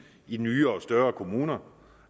i nye og større kommuner